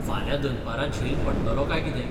फाल्यां दनपरां झेल पडटलो काय कितें